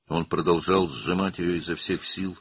O, onu bütün gücüylə sıxmağa davam etdi.